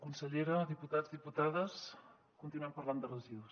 consellera diputats diputades continuem parlant de residus